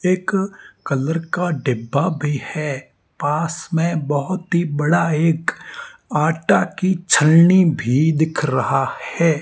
एक कलर का डिब्बा भी है पास में बहोत ही बड़ा एक आटा की छलनी भी दिख रहा है।